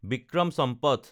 Vikram Sampath